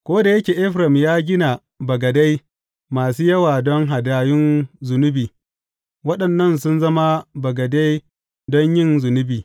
Ko da yake Efraim ya gina bagadai masu yawa don hadayun zunubi, waɗannan sun zama bagade don yin zunubi.